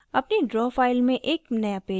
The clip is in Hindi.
अपनी draw file में एक नया पेज जोड़ें